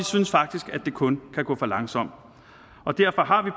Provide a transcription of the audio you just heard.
synes faktisk at det kun kan gå for langsomt derfor har vi